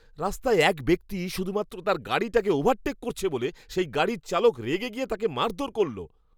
রাস্তায় এক ব্যক্তি শুধুমাত্র তার গাড়িটাকে ওভারটেক করেছে বলে সেই গাড়ির চালক রেগে গিয়ে তাকে মারধর করল!